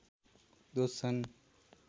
दोष छन्